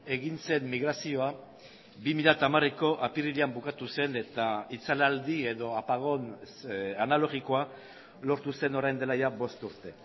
egin zen migrazioa bi mila hamareko apirilean bukatu zen eta itzalaldi edo apagón analogikoa lortu zen orain dela bost urte